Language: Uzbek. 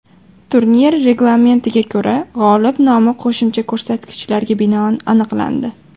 Turnir reglamentiga ko‘ra, g‘olib nomi qo‘shimcha ko‘rsatkichlarga binoan aniqlandi.